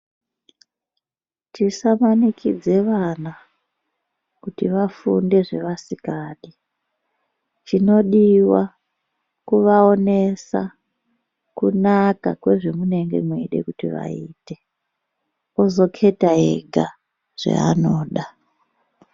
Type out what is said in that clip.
Tisa manikidze vana kuti vafunde zvavasingadi chinodiwa kuva onesa kunaka kwe zve munenge meide kuti vaite ozo keta ega zvaanoda.